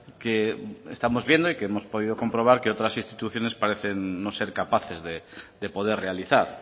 que estamos viendo y que hemos podido comprobar que otras instituciones parecen no ser capaces de poder realizar